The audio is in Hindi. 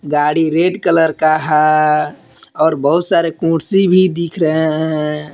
गाड़ी रेड कलर का है और बहुत सारे कुर्सी भी दिख रहे हैं।